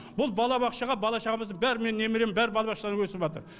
бұл балабақшаға бала шағамыздың бәрі менің немерем бәрі балабақшада өсіватыр